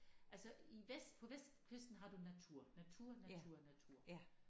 Altså i vest på vestkysten har du natur natur natur natur